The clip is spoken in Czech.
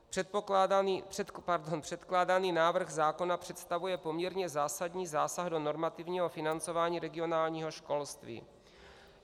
Předkládaný návrh zákona představuje poměrně zásadní zásah do normativního financování regionálního školství.